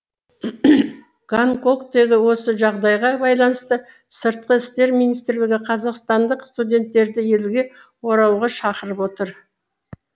гонконгтегі осы жағдайға байланысты сыртқы істер министрлігі қазақстандық студенттерді елге оралуға шақырып отыр